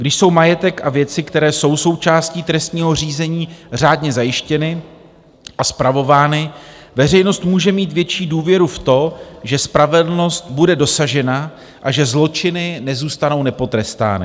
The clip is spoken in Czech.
Když jsou majetek a věci, které jsou součástí trestního řízení, řádně zajištěny a spravovány, veřejnost může mít větší důvěru v to, že spravedlnost bude dosažena a že zločiny nezůstanou nepotrestány.